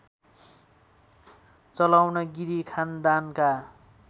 चलाउन गिरी खानदानका